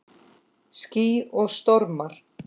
Ský og stormar